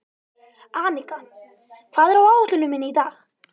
Arnika, hvað er á áætluninni minni í dag?